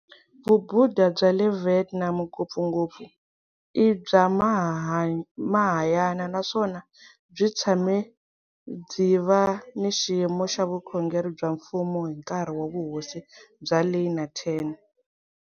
Vubudha bya le Vietnam ngopfungopfu i bya Mahayana naswona byi tshame byi va ni xiyimo xa vukhongeri bya mfumo hi nkarhi wa Vuhosi bya Ly na Tran.